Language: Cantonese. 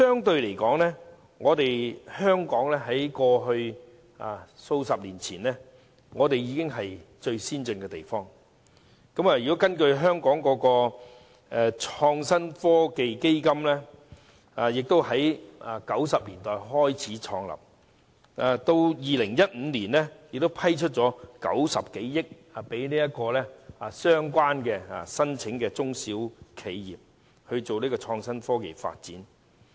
不過，香港在數十年前已屬最先進地區，而香港的創新及科技基金於1990年代創立，至2015年已批出共90多億元，供申請的中小企業進行創新科技發展。